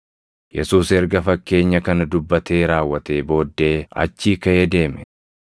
Yesuus erga fakkeenya kana dubbatee raawwatee booddee achii kaʼee deeme.